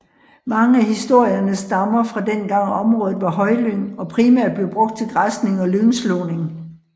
Mange af historierne stammer fra dengang området var højlyng og primært blev brugt til græsning og lyngslåning